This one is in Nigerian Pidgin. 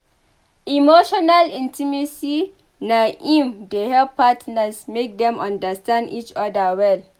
Emotional intimacy na im dey help partners make dem understand each other well.